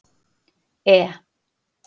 E